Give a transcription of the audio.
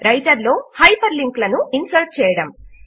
writer లో hyperlink లను insert చేయడము